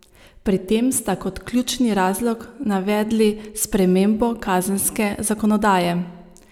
Pri tem sta kot ključni razlog navedli spremembo kazenske zakonodaje.